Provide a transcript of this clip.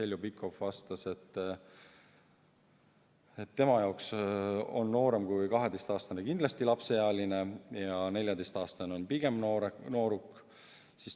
Heljo Pikhof vastas, et tema jaoks on noorem kui 12-aastane kindlasti lapseealine ja 14-aastane on pigem nooruk.